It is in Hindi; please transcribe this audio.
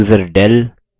id